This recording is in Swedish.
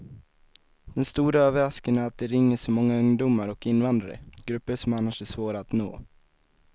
Den stora överraskningen är att det ringer så många ungdomar och invandrare, grupper som annars är svåra att nå.